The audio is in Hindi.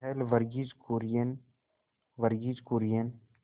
पहल वर्गीज कुरियन वर्गीज कुरियन